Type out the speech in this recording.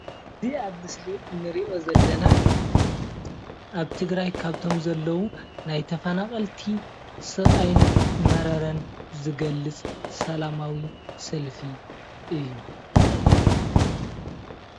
እዚ ኣብ ምስሊ እንሪኦ ዘለና ኣብ ትግራይ ካብቶም ዘለው ናይ ተፈናቀልቲ ስቃይን መረረን ዝገልፅ ሰላማዊ ሰልፊ እዩ፡፡